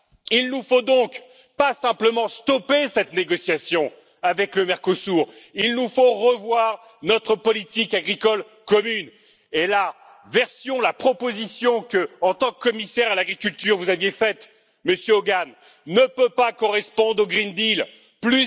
Il ne faut donc pas simplement stopper cette négociation avec le Mercosur, il faut revoir notre politique agricole commune et la version, la proposition qu'en tant que commissaire à l'agriculture vous aviez faite, Monsieur Hogan, ne peut pas correspondre au pacte vert pour l'Europe.